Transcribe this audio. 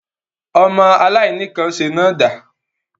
Ọmọ aláìníkànṣe náà dà?